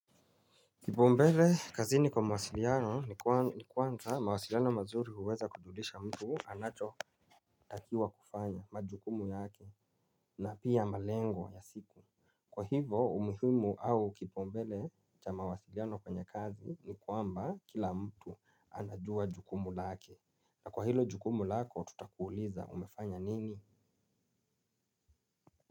Kipaumbele kazini kwa mawasiliano ni kwanza mawasiliano mazuri huweza kujulisha mtu anachotakiwa kufanya majukumu yake na pia malengo ya siku. Kwa hivyo umuhimu au kipaumbele cha mawasiliano kwenye kazi ni kwamba kila mtu anajua jukumu lake. Na kwa hilo jukumu lako tutakuuliza umefanya nini?